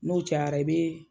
N'o cayara i bɛ.